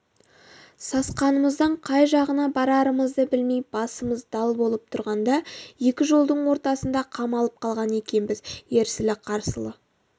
сасқанымыздан қай жағына барарымызды білмей басымыз дал болып тұрғанда екі жолдың ортасында қамалып қалған екенбіз ерсілі-қарсылы